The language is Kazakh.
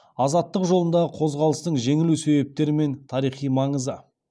азаттық жолындағы қозғалыстың жеңілу себептері мен тарихи маңызы